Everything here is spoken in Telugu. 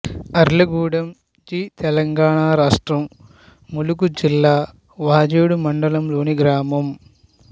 అర్లగూడెం జి తెలంగాణ రాష్ట్రం ములుగు జిల్లా వాజేడు మండలంలోని గ్రామం